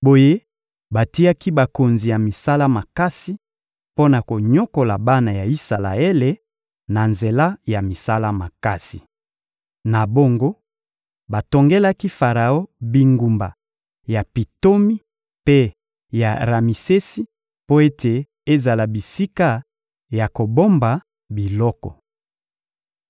Boye batiaki bakonzi ya misala makasi mpo na konyokola bana ya Isalaele na nzela ya misala makasi. Na bongo, batongelaki Faraon bingumba ya Pitomi mpe ya Ramisesi mpo ete ezala bisika ya kobomba biloko.